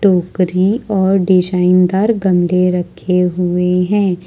टोकरी और डिजाइन दार गमले रखे हुए हैं।